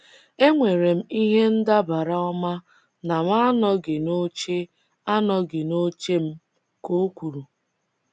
“E nwere m ihe ndabara ọma na m anọghị n’oche anọghị n’oche m,” ka o kwuru.